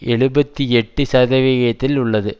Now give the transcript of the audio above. எழுபத்தி எட்டு சதவிகிதத்தில் உள்ளது